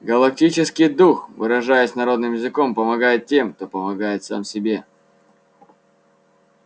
галактический дух выражаясь народным языком помогает тем кто помогает сам себе